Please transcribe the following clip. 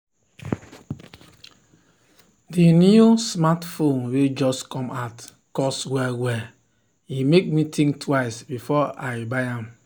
the new smartphone wey just come out cost well well e make me think twice before i buy am.